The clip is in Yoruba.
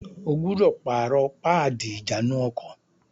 O gbúdọ̀ pààrọ̀ páàdì ìjánu-ọkọ̀!